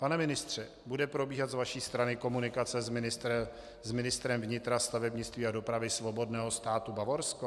Pane ministře, bude probíhat z vaší strany komunikace s ministrem vnitra, stavebnictví a dopravy Svobodného státu Bavorsko?